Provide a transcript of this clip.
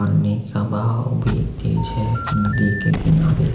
पानी का बहाव भी तेज है नदी के किनारे।